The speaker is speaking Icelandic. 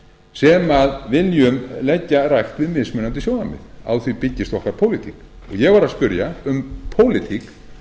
sem viljum leggja rækt við mismunandi sjónarmið á því byggist okkar pólitík ég var að spyrja um pólitík